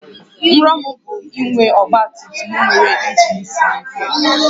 Nrọ m bụ inwe ọgba tum tum nwere injin siri ike